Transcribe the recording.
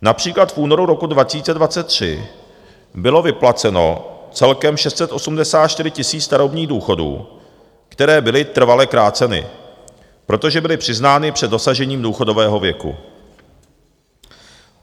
Například v únoru roku 2023 bylo vyplaceno celkem 684 000 starobních důchodů, které byly trvale kráceny, protože byly přiznány před dosažením důchodového věku."